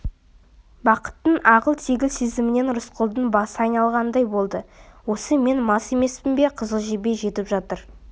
бақыттың ағыл-тегіл сезімінен рысқұлдың басы айналғандай болды осы мен мас емеспін бе қызыл жебе жетіп жатыр